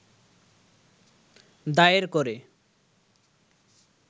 দায়ের করে